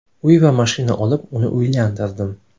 Uy va mashina olib, uni uylantirdim.